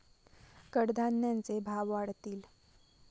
कडधान्यांचे भाव वाढतील.